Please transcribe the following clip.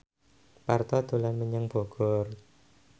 Parto dolan menyang Bogor